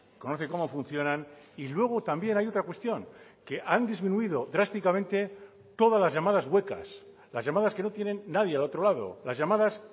conoce cómo funcionan y luego también hay otra cuestión que han disminuido drásticamente todas las llamadas huecas las llamadas que no tienen nadie al otro lado las llamadas